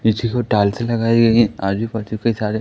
नीचे की ओर टाइलसे लगाई गई हैं आजूबाजू की सारे--